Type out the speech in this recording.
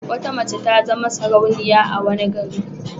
Wata mace ta zama sarauniya a wani gari.